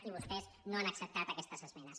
i vostès no han acceptat aquestes esmenes